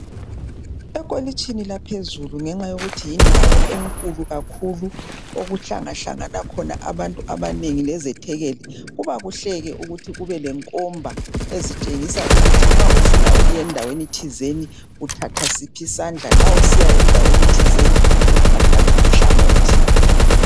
Ekholitshini laphezulu ngenxa yokuthi yindawo enkulu kakhulu okuhlangahlangana khona abantu abanengi lezethekeli kuba kuhle ke ukuthi kube lekomba ezitshengisa ukuthi nxa ufuna ukuya endaweni thizeni uthatha siphi isandla nxa usiya endaweni thizeni uthatha luphi uhlangothi.